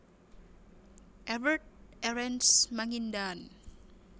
Evert Erenst Mangindaan